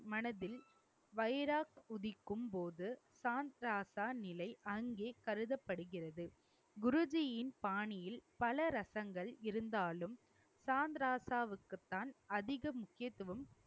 மனதில் உதிக்கும் போது சான் ராசா நிலை அங்கே கருதப்படுகிறது. குருஜியின் பாணியில் பல ரசங்கள் இருந்தாலும் சாந்த்ராசாவுக்குத்தான் அதிக முக்கியத்துவம்